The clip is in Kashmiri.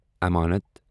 امانت